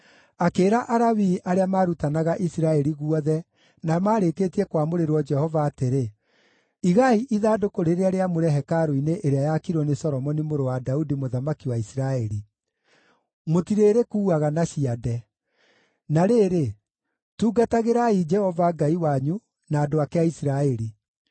Akĩĩra Alawii arĩa maarutanaga Isiraeli guothe na maarĩkĩtie kwamũrĩrwo Jehova atĩrĩ: “Igai ithandũkũ rĩrĩa rĩamũre hekarũ-inĩ ĩrĩa yaakirwo nĩ Solomoni mũrũ wa Daudi mũthamaki wa Isiraeli. Mũtirĩrĩkuuaga na ciande. Na rĩrĩ, tungatagĩrai Jehova Ngai wanyu, na andũ ake a Isiraeli.